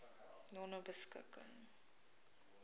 nonebeskikking